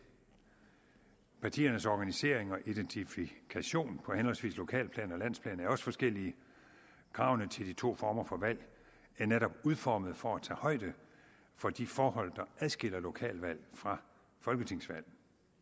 partiernes organisering og identifikation på henholdsvis lokalplan og landsplan er også forskellig kravene til de to former for valg er netop udformet for at tage højde for de forhold der adskiller lokalvalg fra folketingsvalg